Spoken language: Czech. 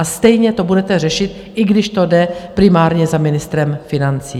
A stejně to budete řešit, i když to jde primárně za ministrem financí.